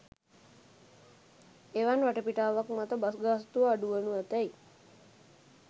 එවන් වටපිටාවක් මත බස් ගාස්තුව අඩු වනු ඇතැයි